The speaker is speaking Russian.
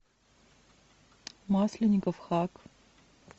масленников хак